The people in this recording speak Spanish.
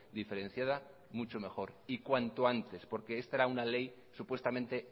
diferenciada mucho mejor y cuanto antes porque es para una ley supuestamente